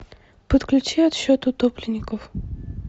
подключи отсчет утопленников